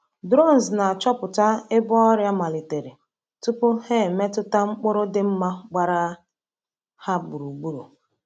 Drones na-achọpụta ebe ọrịa malitere tupu ha emetụta mkpụrụ dị mma gbara ha gburugburu.